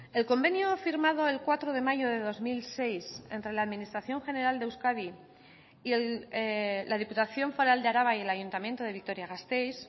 el convenio firmado el cuatro de mayo de dos mil seis entre la administración general de euskadi y la diputación foral de araba y el ayuntamiento de vitoria gasteiz